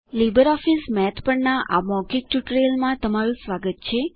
LibreOffice મેથના આ મૌખિક ટ્યુટોરીઅલમાં સ્વાગત છે